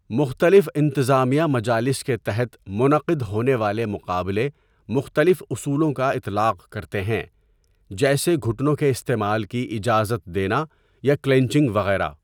مختلف انتظامیہ مجالس کے تحت منعقد ہونے والے مقابلے مختلف اصولوں کا اطلاق کرتے ہیں، جیسے گھٹنوں کے استعمال کی اجازت دینا یا کلینچنگ وغیرہ۔